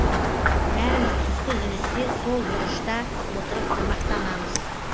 бәріміз түскі үзілісте сол бұрышта отырып тамақтанамыз